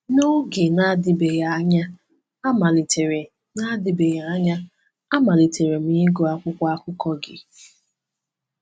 N’oge na-adịbeghị anya, amalitere na-adịbeghị anya, amalitere m ịgụ akwụkwọ akụkọ gị.